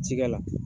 Cikɛ la